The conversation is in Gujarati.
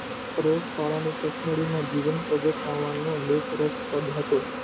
શાળાની stationery માં આવવાનો જીવનપર્યંત બહુજ રસ હતો.